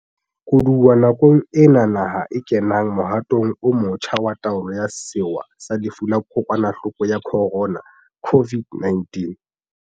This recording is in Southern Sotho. Koduwa nakong ena naha e kenang mohatong o motjha wa taolo ya sewa sa lefu la Kokwanahloko ya Khorona, COVID-19.